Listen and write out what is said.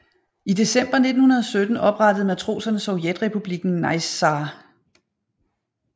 I december 1917 oprettede matroserne Sovjetrepubliken Naissaar